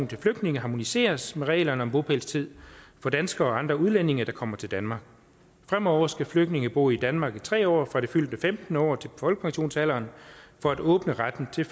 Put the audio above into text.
til flygtninge harmoniseres med reglerne om bopælstid for danskere og andre udlændinge der kommer til danmark fremover skal flygtninge bo i danmark i tre år fra det fyldte femtende år til folkepensionsalderen for at åbne retten til